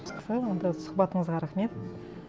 жақсы онда сұхбатыңызға рахмет